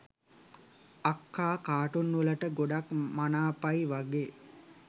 අක්කා කා‍ටුන් වලට ගොඩක් මනාපයි වගෙ